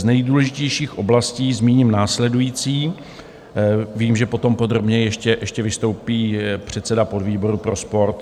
Z nejdůležitějších oblastí zmíním následující - vím, že potom podrobněji ještě vystoupí předseda podvýboru pro sport.